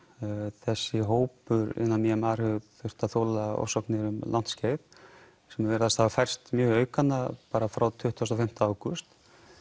þessi hópur innan mar hefur þurft að þola ofsóknir um langt skeið sem virðist hafa færst mjög í aukana bara frá tuttugu og fimm ágúst